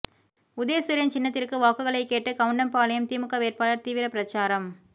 உதயசூரியன் சின்னத்திற்கு வாக்குகளை கேட்டு கவுண்டம்பாளையம் திமுக வேட்பாளர் தீவிர பிரசாரம்